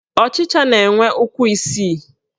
Ọchịcha na-enwe ụkwụ isii